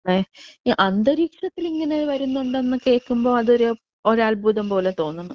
ഈ അന്തരീക്ഷത്തിൽ ഇങ്ങനെ വരുന്നുണ്ടെന്ന് കേൾക്കുമ്പോ അതൊരു അത്ഭുതം പോലെ തോന്നുന്നു.